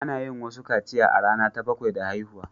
Ana yin wasu kaciya a rana ta bakwai da haihuwa.